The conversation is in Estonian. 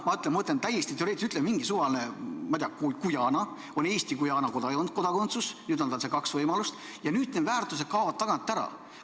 Ma ütlen täiesti teoreetiliselt, on Eesti-Guyana kodakondsus, nüüd on tal see kaks võimalust ja nüüd need väärtused kaovad tagant ära.